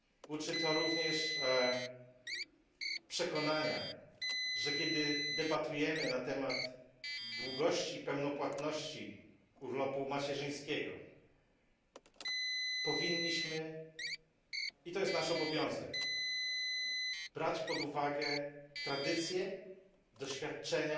Uczy to również przekonania, że kiedy debatujemy na temat długości i pełnopłatności urlopu macierzyńskiego, powinniśmy i jest to nasz obowiązek brać pod uwagę tradycje, doświadczenia